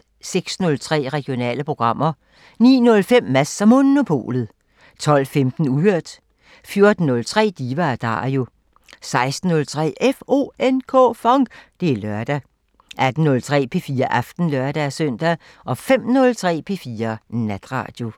06:03: Regionale programmer 09:05: Mads & Monopolet 12:15: Uhørt 14:03: Diva & Dario 16:03: FONK! Det er lørdag 18:03: P4 Aften (lør-søn) 05:03: P4 Natradio